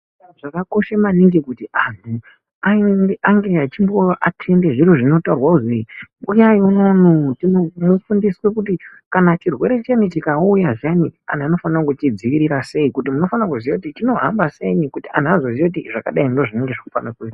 Zvakakosha maningi kuti vantu ange achiathende zvinhu zvinotaurwa kuzi vantu uyayi unono mufundiswe kuti kana chirwere chikauya zviyani vantu vanofanirwa kuchidzivirira sei kuti munofane kuziya kuti chinohamba sei kuti vantu vazoziya kuti zvakadai ndizvo zvinofanirwa kuizwa.